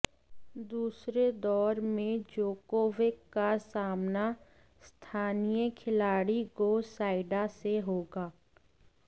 दूसरे दौर में जोकोविक का सामना स्थानीय खिलाड़ी गो सोइडा से होगा